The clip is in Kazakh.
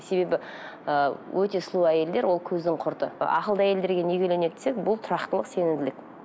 себебі ы өте сұлу әйелдер ол көздің құрты ақылды әйелдерге неге үйленеді десек бұл тұрақтылық сенімділік